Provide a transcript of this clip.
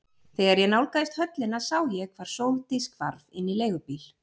Þegar ég nálgaðist höllina sá ég hvar Sóldís hvarf inn í leigubíl.